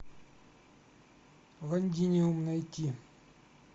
лондиниум найти